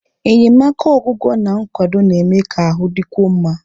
Enyemaka ọgwụgwọ na nkwado na-eme ka ahụ dịkwuo mma.